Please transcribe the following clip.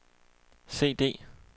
CD